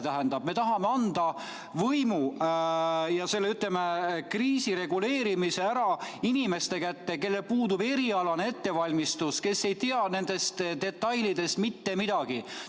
Tähendab, me tahame anda võimu, ütleme, kriisi reguleerimise inimeste kätte, kellel puudub erialane ettevalmistus, kes ei tea nendest detailidest mitte midagi.